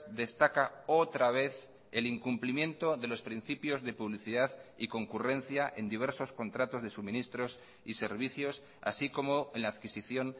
destaca otra vez el incumplimiento de los principios de publicidad y concurrencia en diversos contratos de suministros y servicios así como en la adquisición